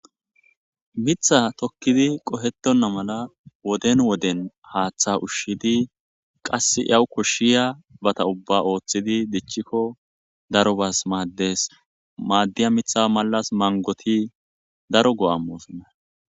Mitha tokkidi qohetonna mala woden woden haaththa ushshidi qass yawu koshshiya bata ubba ooththidi dichchikko daro bas maaddes maaddiya mitha malas mangoti daro go'ammosanna.